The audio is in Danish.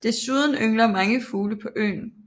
Desuden yngler mange fugle på øen